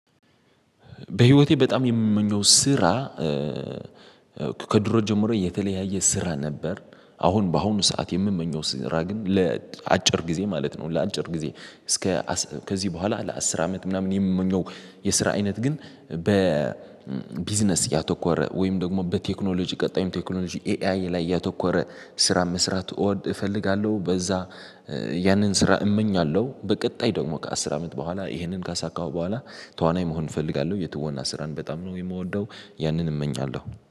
በህይወቴ በጣም የምመኘው ስራ፤ ከድሮ ጀምሮ የተለያየ ስራ ነበር። አሁን በአሁኑ ሰዓት የምመኘው ስራ ግን ለአጭር ጊዜ ማለት ነው፤ ለአጭር ጊዜ እስከ ከዚህ በኋላ ለአስር አመት ምናምን የምንለው የስራ አይነት ግን፤ በቢዝነስ ያተኮረ ወይም ደግሞ በቴክኖሎጂ ቀጣይም ቴክኖሎጂ ኤአይ ላይ ያተኮረ ስራ መስራት እወድ እፈልጋለሁ። በዛ ያንን ስራ እመኛለሁ፤ በቀጣይ ደግሞ ከአስር አመት በኋላ ይሄንን ካሳካሁ በኋላ፤ ተዋናይ መሆን እፈልጋለሁ። የትወና ስራን በጣም ነው የምወደው፤ ያንን እመኛለሁ።